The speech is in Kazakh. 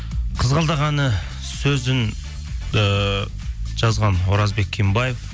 қызғалдақ әні сөзін ііі жазған оразбек кенбаев